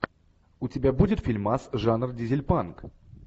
у тебя будет фильмас жанр дизельпанк